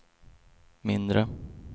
mindre